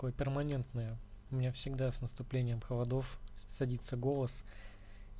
перманентная у меня всегда с наступлением холодов садится голос